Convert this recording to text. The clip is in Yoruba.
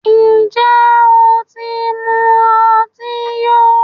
Ǹjẹ́ o ti mu ọtí yó?